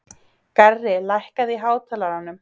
Garri, lækkaðu í hátalaranum.